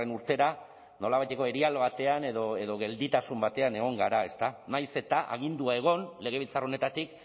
urtera nolabaiteko erial batean edo gelditasun batean egon gara nahiz eta agindua egon legebiltzar honetatik